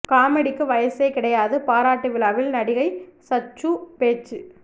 காமெடிக்கு வயசே கிடையாது பாராட்டு விழாவில் நடிகை சச்சு பேச்சு